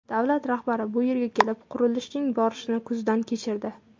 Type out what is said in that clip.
Davlat rahbari bu yerga kelib, qurilishning borishini ko‘zdan kechirdi.